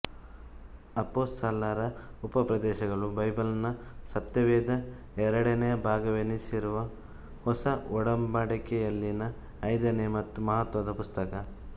ಅಪೋಸಲರ ಉಪದೇಶಗಳು ಬೈಬಲ್ನ ಸತ್ಯವೇದ ಎರಡನೆಯ ಭಾಗವೆನಿಸಿರುವ ಹೊಸ ಒಡಂಬಡಿಕೆಯಲ್ಲಿನ ಐದನೆಯ ಮತ್ತು ಮಹತ್ತ್ವದ ಪುಸ್ತಕ